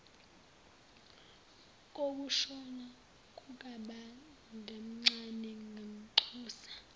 kokushona kukababomncane ngamnxusa